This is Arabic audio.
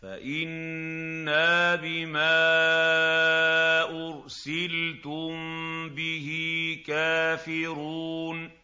فَإِنَّا بِمَا أُرْسِلْتُم بِهِ كَافِرُونَ